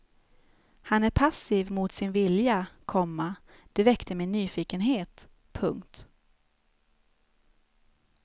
Han är passiv mot sin vilja, komma det väckte min nyfikenhet. punkt